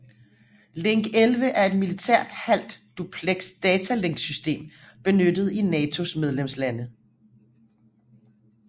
Link 11 er et militært halv dupleks datalinksystem benyttet i NATOs medlemslande